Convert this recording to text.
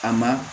A ma